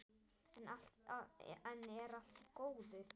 Enn er allt í góðu.